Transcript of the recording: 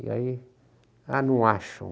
E aí, ah, não acham.